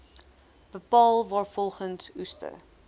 bepaal waarvolgens oester